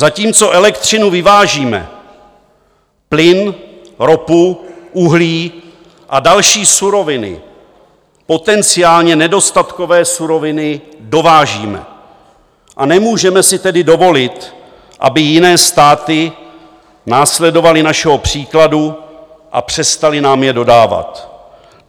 Zatímco elektřinu vyvážíme, plyn, ropu, uhlí a další suroviny, potenciálně nedostatkové suroviny, dovážíme, a nemůžeme si tedy dovolit, aby jiné státy následovaly našeho příkladu a přestaly nám je dodávat.